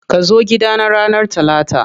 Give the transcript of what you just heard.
Kazo gida na ranar Talata.